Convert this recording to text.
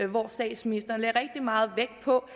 hvor statsministeren lagde rigtig meget vægt på